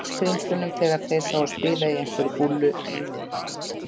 Sæskrímslunum þegar þeir sáu þá spila á einhverri búllu í miðbænum.